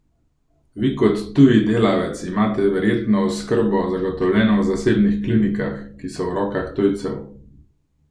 Vi kot tuji delavec imate verjetno oskrbo zagotovljeno v zasebnih klinikah, ki so v rokah tujcev?